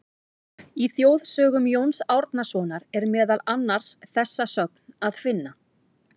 Í Þjóðsögum Jóns Árnasonar er meðal annars þessa sögn að finna: